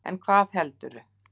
En hvað heldurðu?